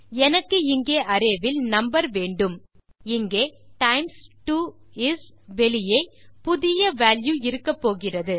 எனக்கு இங்கே அரே வில் நம்பர் வேண்டும் இங்கே டைம்ஸ் 2 இஸ் வெளியே புதிய வால்யூ இருக்கப்போகிறது